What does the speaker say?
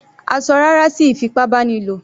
A ṣọ "rárá" sí ìfipábánilò.